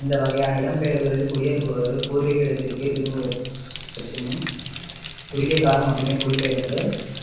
இந்த வகையான இடம்பெயர்வுகளில் குடியேறுபவர்கள் பூர்வீக இடத்திற்கே திரும்புவதற்குமுன் குறுகிய காலம் மட்டுமே குடிபெயர்ந்த